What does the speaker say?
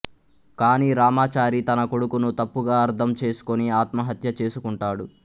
కానీ రామాచారి తన కొడుకును తప్పుగా అర్థం చేసుకుని ఆత్మహత్య చేసుకుంటాడు